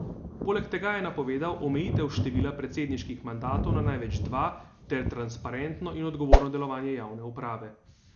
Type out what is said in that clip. Poleg tega je napovedal omejitev števila predsedniških mandatov na največ dva ter transparentno in odgovorno delovanje javne uprave.